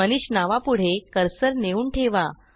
मनीष नावापुढे कर्सर नेऊन ठेवा